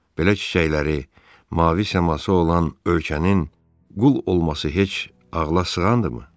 Belə çiçəkləri, mavi səması olan ölkənin qul olması heç ağla sığandırmı?